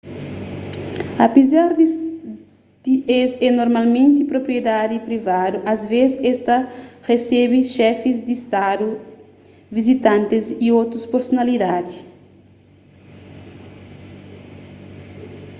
apézar di es é normalmenti propriedadi privadu asvês es ta resebe xefis di stadu vizitantis y otus personalidadi